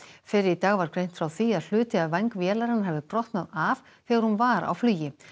fyrr í dag var greint frá því að hluti af væng vélarinnar hafi brotnað af þegar hún var á flugi